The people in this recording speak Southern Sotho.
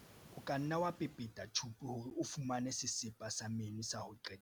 o ka nna wa pepeta tjhupu hore o fumane sesepa sa meno sa ho qetela